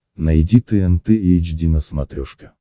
найди тнт эйч ди на смотрешке